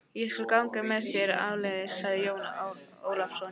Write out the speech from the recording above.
Ég skal ganga með þér áleiðis, sagði Jón Ólafsson.